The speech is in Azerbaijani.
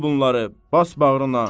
Al bunları, bas bağrına.